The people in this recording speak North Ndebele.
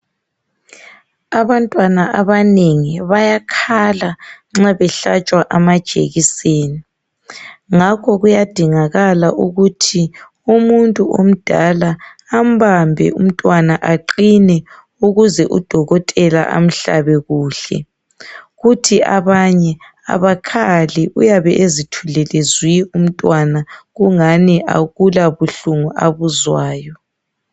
Abantwana abanengi bayakhala nxa behlatshwa amajekiseni. Ngakho kuyadingala ukuthi umuntu omdala ambambe umntwana aqine ukuze udokotela amhlabe kuhle. Kuthi abanye abakhali uyabe ezithulele zwi umntwana kungani akulabuhlungu abuzwayo.